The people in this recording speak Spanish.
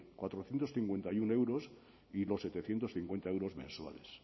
cuatrocientos cincuenta y uno euros y los setecientos cincuenta euros mensuales